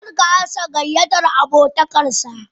Kar ka amsa gayyatar abotakar sa.